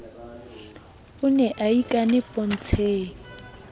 o ne a ikane pontsheng